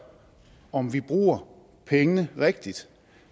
om vi bruger pengene rigtigt